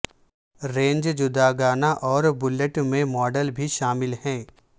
range جداگانہ اور built میں ماڈل بھی شامل ہے